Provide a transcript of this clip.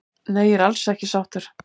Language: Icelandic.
Nei ég er alls ekki sáttur